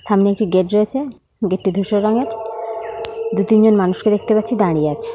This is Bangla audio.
সামনে একটি গেট রয়েছে। গেট -টি ধূসর রঙের। দু তিনজন মানুষকে দেখতে পাচ্ছি দাঁড়িয়ে আছে।